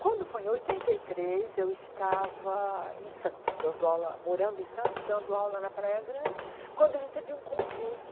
Quando foi em oitenta e três, eu estava em Santos, dando aula morando em Santos e dando aula na Praia Grande, quando eu recebi um convite.